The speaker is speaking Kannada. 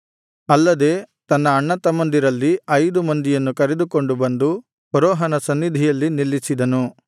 ಅಲ್ಲದೆ ತನ್ನ ಅಣ್ಣತಮ್ಮಂದಿರಲ್ಲಿ ಐದು ಮಂದಿಯನ್ನು ಕರೆದುಕೊಂಡು ಬಂದು ಫರೋಹನ ಸನ್ನಿಧಿಯಲ್ಲಿ ನಿಲ್ಲಿಸಿದನು